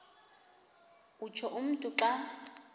utsho umntu xa